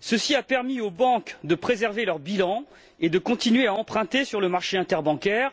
ce qui a permis aux banques de préserver leur bilan et de continuer à emprunter sur le marché interbancaire.